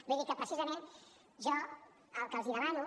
vull dir que precisament jo el que els demano